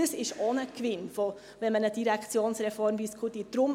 Dies ist auch ein Gewinn, wenn man eine Direktionsreform diskutiert.